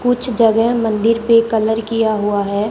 कुछ जगह मंदिर पे कलर किया हुआ है।